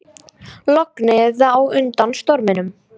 Lognið á undan storminum